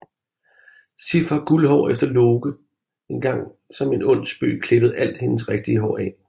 Sif har guldhår efter at Loke engang som en ond spøg klippede alt hendes rigtige hår af